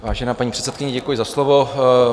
Vážená paní předsedkyně, děkuji za slovo.